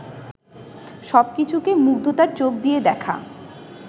সব কিছুকে মুগ্ধতার চোখ দিয়ে দেখা